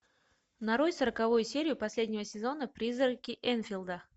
нарой сороковую серию последнего сезона призраки энфилда